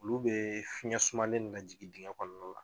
Olu bɛ fiɲɛ sumalen min najigin digɛn kɔnɔna la.